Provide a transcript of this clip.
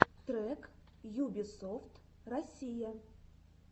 трек юбисофт россия